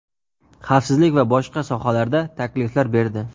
xavfsizlik va boshqa sohalarda takliflar berdi.